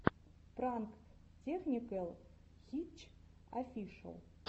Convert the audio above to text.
пранк тэхникэл хитч офишэл